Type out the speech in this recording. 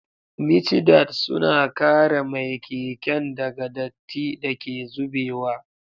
Micidad suna kare mai keken daga datti da ke zubewa.